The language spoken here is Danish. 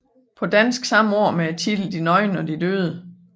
På dansk samme år med titlen De nøgne og de døde